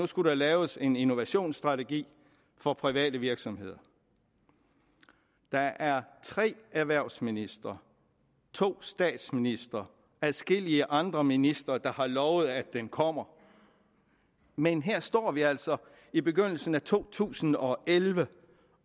skulle laves en innovationsstrategi for private virksomheder der er tre erhvervsministre to statsministre og adskillige andre ministre der har lovet at den kommer men her står vi altså i begyndelsen af to tusind og elleve